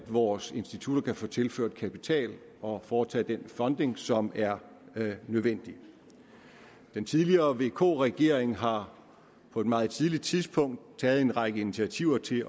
vores institutter kan få tilført kapital og foretage den funding som er nødvendig den tidligere vk regering har på et meget tidligt tidspunkt taget en række initiativer til